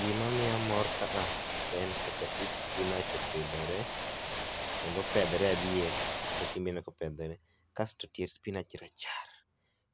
Gima miya mor ka a en kaka it spinach opidhore kendo opedhore adier kata in ineo kopedhore ,kae to tie s spinach rachar